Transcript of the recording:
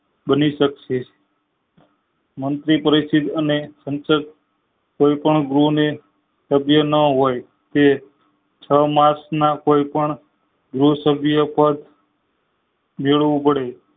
નાખી સક્સે મંત્રી પતિ અને કોઈ પણ ગુને સભ્ય ન હોય તે છ માસ ના કોઈ પણ ગૃહ સભ્ય પાર મેળવું પડે